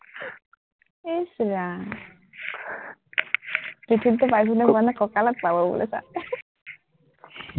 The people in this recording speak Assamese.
ইচ ৰাম, মানে ককালত পাব চা